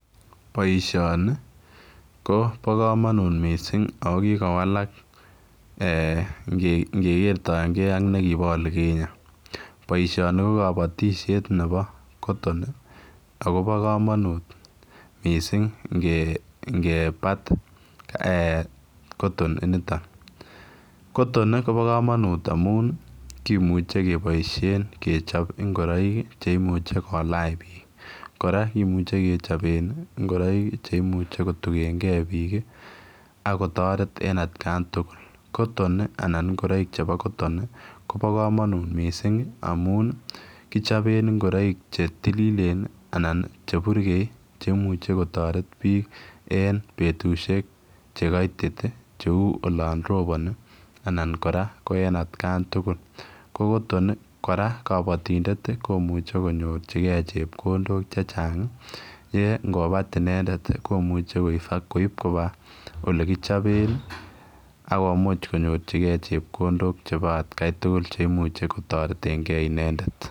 Baishoni Koba kamanut mising akokikowalak ngere atkai AK olibo olikinye. Baishoni Kobo kabatishet Nebo cotton akobo kamanut mising nge bat cotton initon cotton Koba kamanut amun kimuche kebaishen kechob ingoroik cheimuch kolach bik koraa kimuche kecop en ingoroik cheimuche kotugen gei bik akotaret en atkan tugul cotton anan ngoroik chebo cotton Koba kamanut mising amun kichoben ingoroik chetililen anan cheburgeyen cheimuche kotaret bik en betushek chekaiti cheu olon roboni anan koraa en atkan tugul ko cotton koraa en kabatindet komuche konyorchigei chepkondok chechang chi kobat inendet koimuche koib Koba factori olekichoben akomuche konyorchigei chepkondok chebo atkai tugul cheimuche kotaret en gei inendet